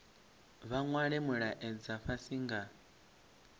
vha nwale mulaedza fhasi nga